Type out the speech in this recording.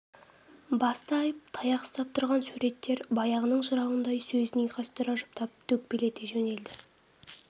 басты айып таяқ ұстап тұрған суреттер баяғының жырауындай сөзін ұйқастыра жұптап төкпелете жөнелді